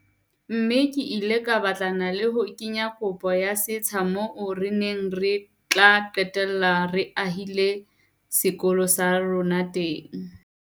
Mme ke ile ka batlana le ho kenya kopo ya setsha moo re neng re tla qetella re ahile sekolo sa rona teng.